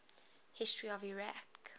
history of iraq